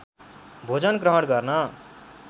भोजन ग्रहण गर्न